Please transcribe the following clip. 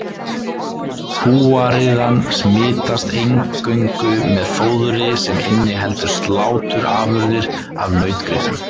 Kúariðan smitast eingöngu með fóðri sem inniheldur sláturafurðir af nautgripum.